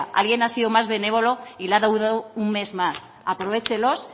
alguien ha sido más benévolo y le ha dado un mes más aprovéchelos